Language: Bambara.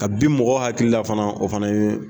Ka bin mɔgɔ hakili la fana o fana ye